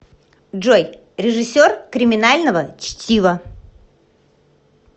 джой режиссер криминального чтива